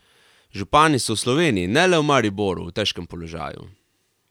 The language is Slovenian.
Župani so v Sloveniji, ne le v Mariboru, v težkem položaju.